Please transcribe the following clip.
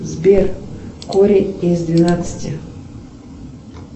сбер корень из двенадцати